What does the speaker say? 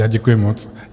Já děkuji moc.